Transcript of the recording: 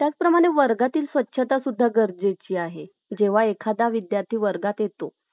त्याचप्रमाणे वर्गातील स्वच्छता पण गरजेची आहे , जेव्हा एखादा विद्यार्थी वर्गात येतो